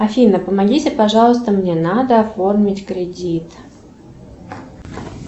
афина помогите пожалуйста мне надо оформить кредит